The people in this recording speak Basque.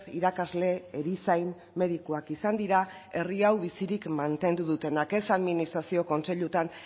irakasle erizain medikuak izan dira herri hau bizirik mantendu dutenak ez administrazio kontseiluetan